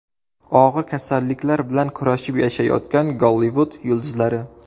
Og‘ir kasalliklar bilan kurashib yashayotgan Gollivud yulduzlari.